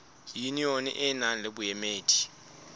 yunione e nang le boemedi